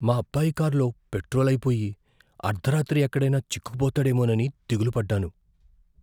మా అబ్బాయి కారులో పెట్రోల్ అయిపోయి, అర్ధరాత్రి ఎక్కడైనా చిక్కుకుపోతాడేమోనని దిగులు పడ్డాను.